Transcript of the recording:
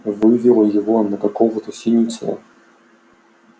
вывело его на какого-то синицына